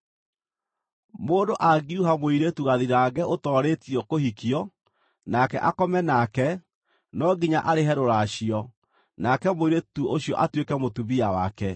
“Mũndũ angiuha mũirĩtu gathirange ũtoorĩtio kũhikio, nake akome nake, no nginya arĩhe rũracio, nake mũirĩtu ũcio atuĩke mũtumia wake.